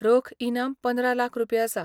रोख इनाम पंदरा लाख रुपये आसा.